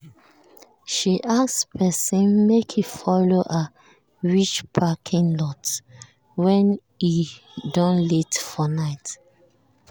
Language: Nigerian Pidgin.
she ask person make e follow her reach parking lot when e don late for night.